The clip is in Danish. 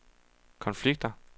konflikter